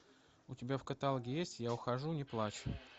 у тебя в каталоге есть я ухожу не плачь